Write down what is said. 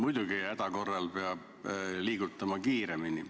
Muidugi, häda korral peab liigutama kiiremini.